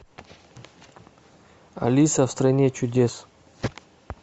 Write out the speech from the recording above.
алиса в стране чудес